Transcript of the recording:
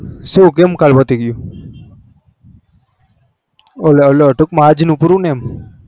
શું કેમ કાલ પતિ ગયુ ટુકમાં અજ નું પૂરું ને એમ